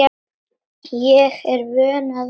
Ég er vön að vinna.